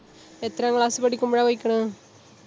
എത്രാം class സ്സ് പഠിക്കുമ്പോഴാ പോയ്ക്ക്ണ്?